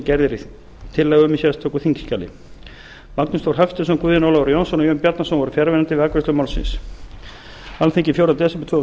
gerð er tillaga um í sérstöku þingskjali magnús þór hafsteinsson guðjón ólafur jónsson og jón bjarnason voru fjarverandi við afgreiðslu málsins alþingi fjórða des tvö þúsund